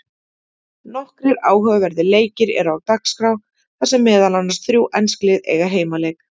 Nokkrir áhugaverðir leikir eru á dagskrá þar sem meðal annars þrjú ensk lið eiga heimaleik.